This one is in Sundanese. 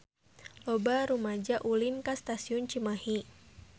Loba rumaja ulin ka Stasiun Cimahi